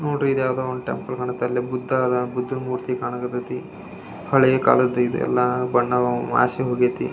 ನೋಡ್ರಿ ಈದ್ ಯಾವುದೊ ಟೆಂಪಲ್ ಕಾಣತ್ತೆ ಅಲ್ಲೇ ಬುದ್ದ ಆದನ್ ಬುದ್ಧನ ಮೂರ್ತಿ ಕಾಣ ಕತ್ತತೆ ಹಳೆ ಕಾಲದ್ದು ಬಣ್ಣ ಮಾಸಿ ಹೋಗೈತೆ.